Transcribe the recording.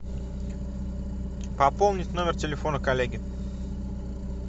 пополнить номер телефона коллеги